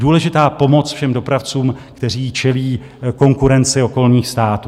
Důležitá pomoc všem dopravcům, kteří čelí konkurenci okolních států.